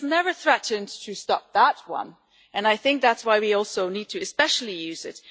He has never threatened to stop that one, and I think that is why we also need to especially use it.